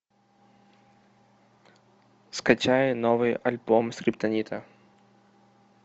скачай новый альбом скриптонита